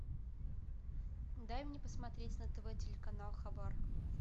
дай мне посмотреть на тв телеканал хабар